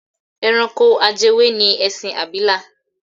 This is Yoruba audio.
Ẹranko ajẹwé ni ẹṣin abìlà.